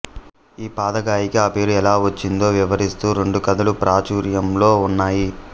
ఈ పాదగయకి ఆ పేరు ఎలా వచ్చిందో వివరిస్తూ రెండు కథలు ప్రాచుర్యంలో ఉన్నాయి